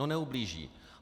No neublíží.